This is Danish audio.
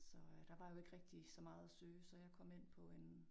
Så øh der var jo ikke rigtig så meget at søge så jeg kom ind på en